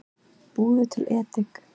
Búðu til edik